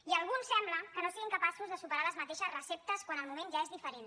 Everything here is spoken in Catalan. i alguns sembla que no siguin capaços de superar les mateixes receptes quan el moment ja és diferent